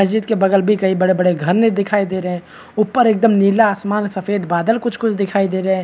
मस्जिद के बगल भी कही बड़े-बड़े घर नहीं दिखाई दे रहे है ऊपर एकदम नीला आसमान सफ़ेद बादल कुछ-कुछ दिखाई दे रहे है।